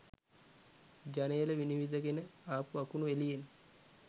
ජනේලෙ විනිවිදගෙන ආපු අකුණු එළියෙන්